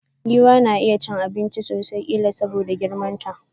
Giwa na iya cin abinchi sosai, killa soboda girman sa.